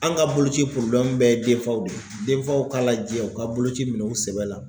An ka boloci bɛɛ ye denfaw de ye denfaw k'a lajɛ u ka boloci minɛ u sɛbɛ la.